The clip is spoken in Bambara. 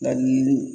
Nka yiri